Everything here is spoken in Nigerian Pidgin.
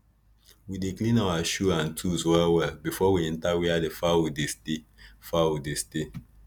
we dey clean our shoe and tools well well before we enter where the fowl dey stay fowl dey stay